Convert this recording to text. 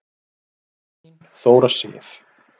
Þín Þóra Sif.